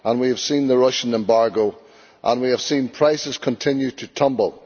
we have seen the Russian embargo, and we have seen prices continue to tumble.